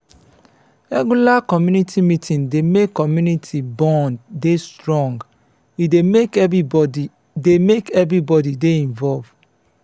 regular community meeting dey make community bond dey strong e dey make everybody dey make everybody dey involved